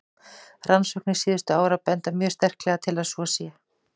Rannsóknir síðustu ára benda mjög sterklega til að svo sé.